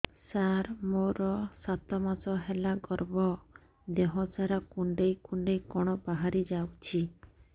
ସାର ମୋର ସାତ ମାସ ହେଲା ଗର୍ଭ ଦେହ ସାରା କୁଂଡେଇ କୁଂଡେଇ କଣ ବାହାରି ଯାଉଛି